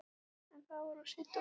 En það var of seint að forða sér.